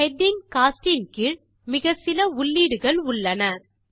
heading coast இன் கீழ் மிகச்சில உள்ளீடுகள் உள்ளன